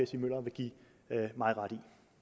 stig møller vil give mig ret